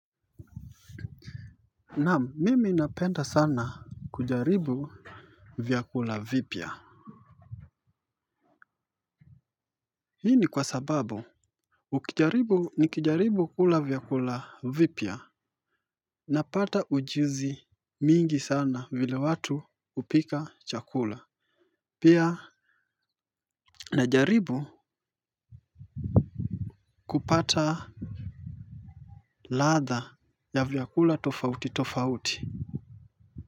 Naam mimi napenda sana kujaribu vyakula vipya. Hii ni kwa sababu ukijaribu nikijaribu kula vyakula vipya napata ujuzi mingi sana vile watu hupika chakula pia najaribu kupata ladha ya vyakula tofauti tofauti.